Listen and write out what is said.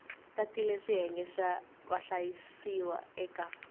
tatile xiyenge xa vahlayisiwa eka